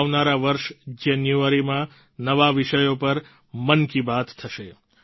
આવનારા વર્ષ જાન્યુઆરીમાં નવા વિષયો પર મન કી બાત થશે